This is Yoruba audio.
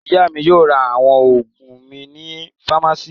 Ìyá mi yóò ra àwọn òògùn mi ní fámásíì.